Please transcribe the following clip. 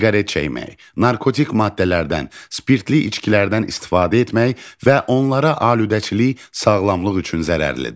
Siqaret çəkmək, narkotik maddələrdən, spirtli içkilərdən istifadə etmək və onlara aludəçilik sağlamlıq üçün zərərlidir.